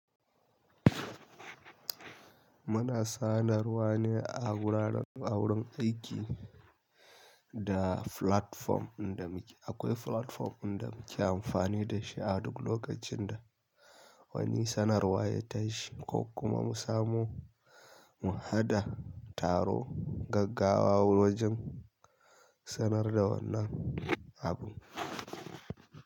Muna sanarwa ne a wurin aiki da platform inda muke akwai platform inda muke amfani da shi a duk lokacin da wani sanarwa ya tashi ko kuma mu samo mu haɗa taro gaggawa wajen sanar da wannan abu.